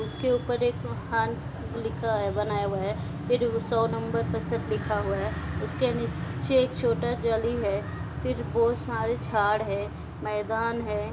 उसके ऊपर एक हाँथ लिखा है बनाया हुआ है। फिर सौ नंबर प्रतिशत लिखा हुआ है। उसके नीचे एक छोटा जाली है। फिर बोहोत सारे झाड़ है। मैदान है।